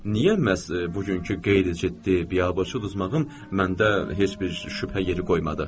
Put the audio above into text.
Niyə məhz bugünkü qeyri-ciddi, biabırçı uduzmağım məndə heç bir şübhə yeri qoymadı?